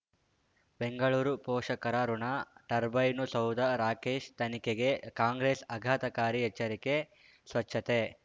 ಬೆಂಗಳೂರು ಪೋಷಕರಋಣ ಟರ್ಬೈನು ಸೌಧ ರಾಕೇಶ್ ತನಿಖೆಗೆ ಕಾಂಗ್ರೆಸ್ ಆಘಾತಕಾರಿ ಎಚ್ಚರಿಕೆ ಸ್ವಚ್ಛತೆ